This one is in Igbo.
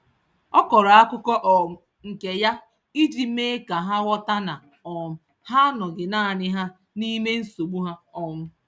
Ọ kọrọ akụkọ um nke ya iji mee ka ha ghọta na um ha anọghị naanị ha n;ime nsogbu ha. um